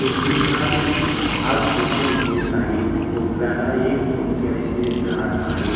हिरवीघार भाग दिसुन हेत आहे कोपऱ्याला एक मोठी अशी झाड हाये.